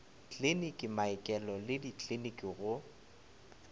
kliniki maokelo le dikliniki go